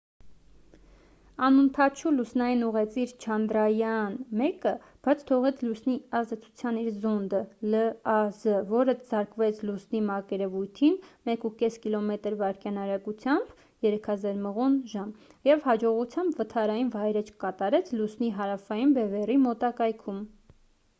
անօդաչու լուսնային ուղեծիր չանդրայաան 1-ը բաց թողեց լուսնի ազդեցության իր զոնդը լազ որը զարկվեց լուսնի մակերևույթին 1,5 կմ/վ արագությամբ 3000 մղոն/ժամ և հաջողությամբ վթարային վայրէջք կատարեց լուսնի հարավային բևեռի մոտակայքում: